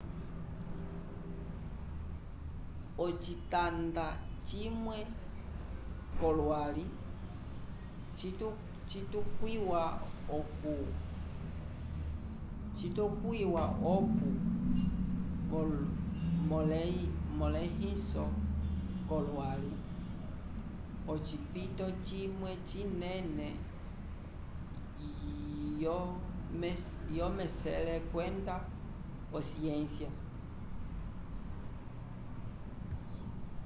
ocitanda cimwe co lwali citukwiwa oku molehiso co lwali ocipito cimwe cinene yo mesele kwenda o ciência